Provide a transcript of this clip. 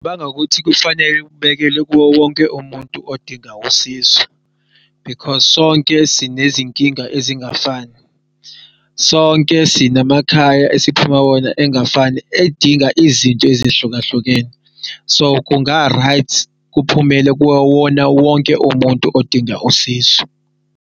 Bangakuthi kufanele ukubekele kuwo wonke umuntu odinga usizo because sonke sinezinkinga ezingafani. Sonke sinamakhaya esiphuma kuwona engafani edinga izinto ezihlukahlukene. So, kunga-right kuphumele kuwona wonke umuntu odinga usizo.